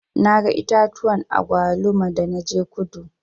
Na ga itatuwan agwaluma da na je kudu.